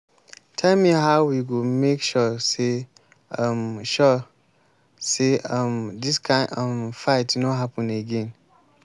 tell me how we go make sure sey um sure sey um dis kind um fight no happen again?